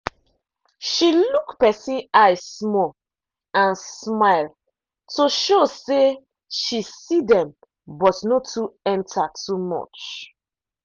she look person eye small and smile to show say she see dem but no too enter too much.